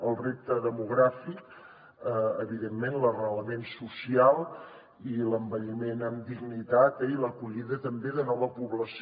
el repte demogràfic evidentment l’arrelament social i l’envelliment amb dignitat eh i l’acollida també de nova població